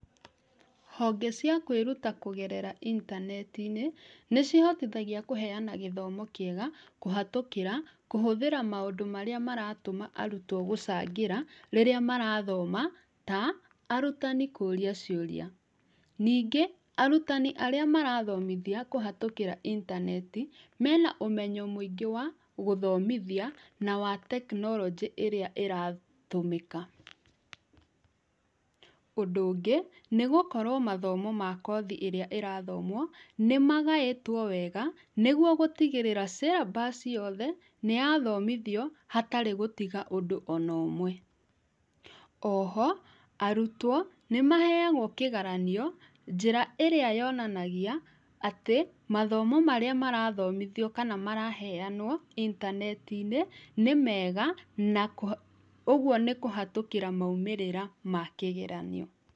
Honge ciakũĩruta kũgerera intaneti-inĩ nĩcihotithagia kũheana gĩthomo kĩega kũhatũkĩra kũhũthĩra maũndũ marĩa maratũma arutwo gũcangĩra rĩrĩa marathoma ta arutani kũria ciũria. Ningĩ, arutani arĩa marathomithia kũhatũkĩra intaneti mena ũmenyo mũingĩ wa gũthomithia na wa tekinoronjĩ ĩrĩa ĩratũmĩka. ũndũ ũngĩ nĩ gũkorwo mathomo ma kothi ĩrĩa ĩrathomwo nĩ magaĩtwo wega nĩguo gũtigĩrĩra syllabus yothe nĩyathomithio hatarĩ gũtiga ũndũ onomwe. Oho arutwo nĩmaheagwo kĩgaranio njĩra ĩrĩa yonanagia atĩ mathomo marĩa marathomithio kana maraheo intaneti-inĩ nĩ mega na ũgũo nĩ kũhetũkĩra maũmĩrĩra ma kĩgeranio.